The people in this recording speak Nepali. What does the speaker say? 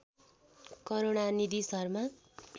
करूणानिधि शर्मा